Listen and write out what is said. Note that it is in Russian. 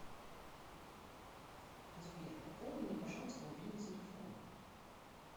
сбер пополни мне пожалуйста мобильный телефон